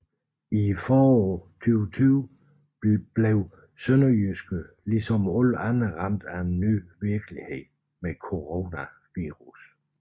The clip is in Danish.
Foråret 2020 bliver SønderjyskE ligesom alle andre ramt af en ny virkelighed med coronavirus